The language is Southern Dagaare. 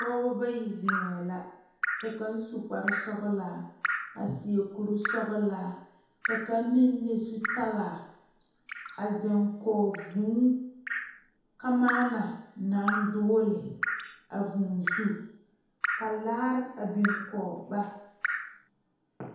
Pɔgeba bayi zeŋe la ka kaŋ su kpare sɔglaa a seɛ kuri sɔglaa ka kaŋ meŋ le zutalaa a zeŋ kɔŋ vūū kamaana naŋ dogle a vūū zu ka laare a biŋ kɔŋ ba.